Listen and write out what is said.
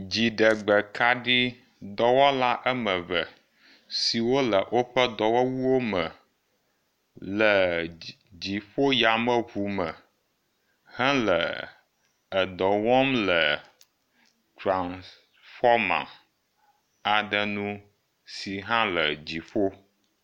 Dziɖegbekaɖidɔwɔla me eve siwo le woƒe dɔwɔwuwo me le dziƒo yameŋu me hele edɔ wɔm le tranfɔma aɖe nu si hã le dziƒo.